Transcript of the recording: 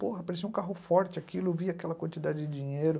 Porra, parecia um carro forte aquilo, via aquela quantidade de dinheiro.